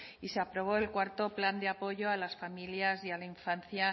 y se aprobó el cuarto plan de apoyo a las familias y a la infancia